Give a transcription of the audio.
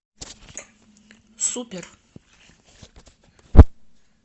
супер